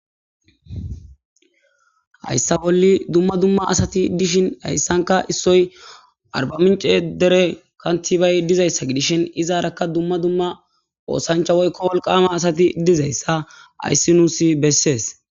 Hayssa bolli dumma dumma asati dishin hayssanka issoy arba mince dere kantibay dizayssa gidishin izaarakka dumma dumma oosancha woykko wolqama asati dizayssa ayssi nuusi bessees.